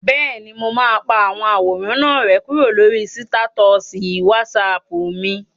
Bẹ́ẹ̀ni, mo máa pa àwọn àwòrán náà rẹ́ kúrò lórí sítátọ̀sì wásaàpù mi